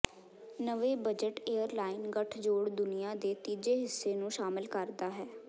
ਨਵੇਂ budget airline ਗੱਠਜੋੜ ਦੁਨੀਆ ਦੇ ਤੀਜੇ ਹਿੱਸੇ ਨੂੰ ਸ਼ਾਮਲ ਕਰਦਾ ਹੈ